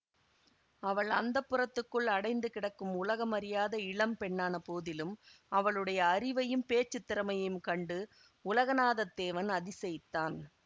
அவள் அந்தப்புரத்துக்குள் அடைந்து கிடக்கும் உலகம் அறியாத இளம் பெண்ணான போதிலும் அவளுடைய அறிவையும் பேச்சு திறமையையும் கண்டு உலகநாதத்தேவன் அதிசயித்தான்